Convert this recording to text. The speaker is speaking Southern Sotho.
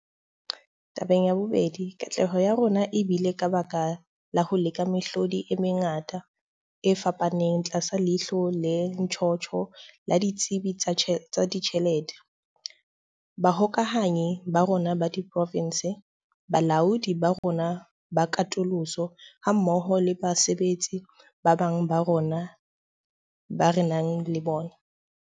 Tabeng ya bobedi, katleho ya rona e bile ka baka la ho leka mehlodi e mengata e fapaneng tlasa leihlo le ntjhotjho la ditsebi tsa ditjhelete, bahokahanyi ba rona ba diprovense, balaodi ba rona ba katoloso hammoho le basebetsi ba bang bao re nang le bona.